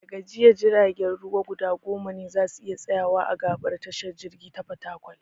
Da ga jiya, jiragen ruwa guda goma ne za su iya tsayawa a gaɓar tashar jirgi ta Fatakwal.